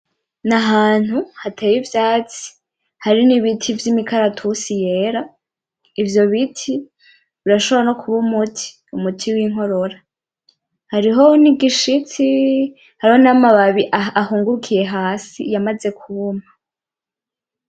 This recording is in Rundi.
N’ahantu hateye ivyatsi hari n’ibiti vy’imikaratusi yera ivyo biti birashobora no kuba umuti, Umuti winkorora hariho n’igishitsi hariho n’amababi yahungurukiye hasi yamaze kuma.